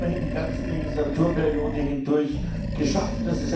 Das haben wir immerhin die ganze Legislaturperiode hindurch geschafft.